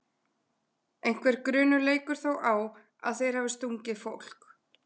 Einhver grunur leikur þó á að þeir hafi stungið fólk.